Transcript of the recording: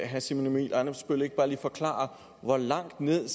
herre simon emil ammitzbøll ikke bare lige forklare hvor langt ned